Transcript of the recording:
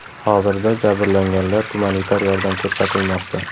Hozirda jabrlanganlar gumanitar yordam ko‘rsatilmoqda.